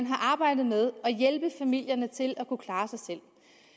har arbejdet med at hjælpe familierne til at kunne klare har